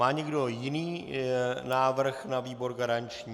Má někdo jiný návrh na výbor garanční?